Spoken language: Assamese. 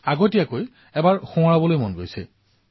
পুনৰবাৰ আগতীয়াকৈ সোঁৱৰণ কৰোৱাৰ ইচ্ছা হৈছে